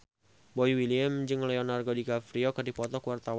Boy William jeung Leonardo DiCaprio keur dipoto ku wartawan